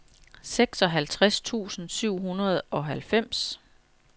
seksoghalvtreds tusind syv hundrede og halvfems